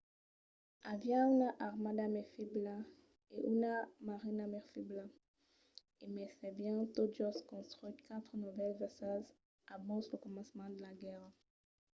aviá una armada mai febla e una marina mai febla e mai s'avián tot just construch quatre novèls vaissèls abans lo començament de la guèrra